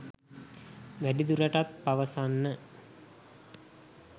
වැඩිදුරටත් පවසන්න